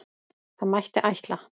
Það mætti ætla.